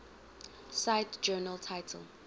cite journal title